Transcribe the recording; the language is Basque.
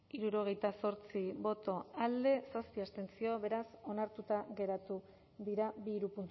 hirurogeita zortzi boto alde zazpi abstentzio beraz onartuta geratu dira bi hiru